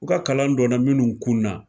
U ka kalan donna minnu kun na